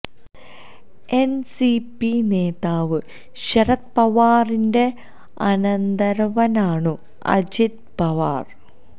N C P നേതാവ് ശരത് പവാറിൻ്റെ അനന്തരവനാണു അജിത് പവാർ